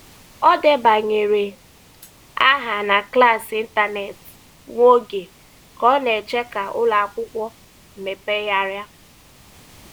Ọ debanyere aha na klaasị ịntanetị nwa oge ka ọ na-eche ka ụlọ akwụkwọ mepegharịa.